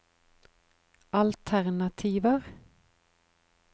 alternativer